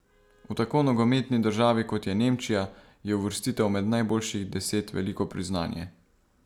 V tako nogometni državi, kot je Nemčija, je uvrstitev med najboljših deset veliko priznanje.